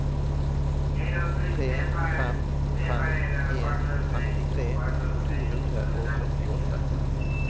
tre fem fem en femtitre to hundre og førtiåtte